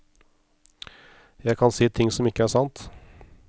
Jeg kan si ting som ikke er sant.